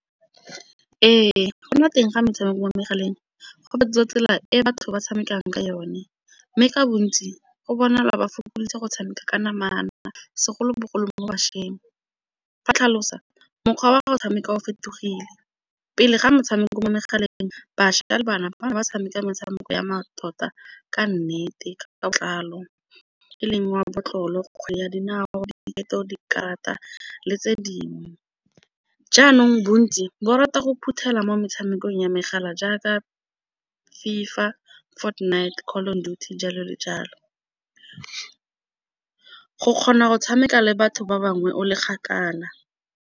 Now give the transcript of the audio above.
Ee, go nna teng ga metshameko mo megaleng go fetola tsela e batho ba tshamekang ka yone, mme ka bontsi go bona lwa ba fokoditse go tshameka ka namana segolobogolo mo mo bašweng. Fa tlhalosa mokgwa wa gago o tshameka o fetogile, pele ga metshameko mo megaleng bašwa ka le bana ba bana ba tshameka metshameko ya mmatota ka nnete ka matlalo ke leng wa mabotlolo, kgwele ya dinao, diketo, dikarata le tse dingwe. Jaanong bontsi bo rata go phuthela mo metshamekong ya megala jaaka FIFA, Fortnite, Call of Duty jalo le jalo, go kgona go tshameka le batho ba bangwe o le kgakala.